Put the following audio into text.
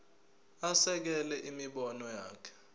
asekele imibono yakhe